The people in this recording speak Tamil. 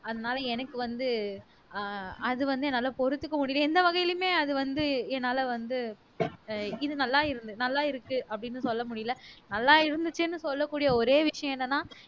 அதனால எனக்கு வந்து ஆஹ் அது வந்து என்னால பொறுத்துக்க முடியலை எந்த வகையிலுமே அது வந்து என்னால வந்து இது நல்லா இருந்துது நல்லா இருக்கு அப்படின்னு சொல்ல முடியலை நல்லா இருந்துச்சுன்னு சொல்லக்கூடிய ஒரே விஷயம் என்னன்னா